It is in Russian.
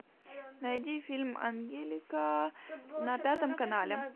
найди фильм ангелика на пятом канале